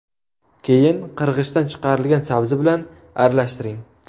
Keyin qirg‘ichdan chiqarilgan sabzi bilan aralashtiring.